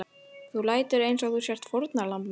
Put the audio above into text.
Þú lætur einsog þú sért fórnarlamb mitt.